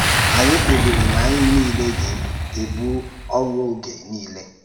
Anyị kpebìrì na anyị niile gà-ebu ọ̀rụ́ oge niile.